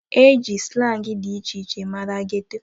E ji slangị dị iche iche mara geto.